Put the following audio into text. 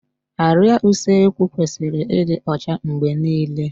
Árịá Usekwu kwesịrị ịdị ọcha mgbe niile